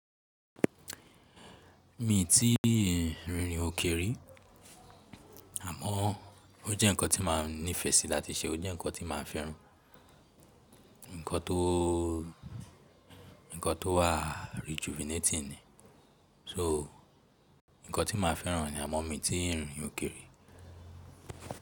Mi ti rin irin òkè ri, àmọ́ o jẹ́ nǹkan tí máa ń nífẹsí láti ṣe o jẹ nǹkan tí máa ń fẹ́ran. Ǹǹkan tó wá rejuvenating ni. So nǹkan tí máa ń fẹ́ran ni àmọ́ mi ti ń rin irin òkè ri.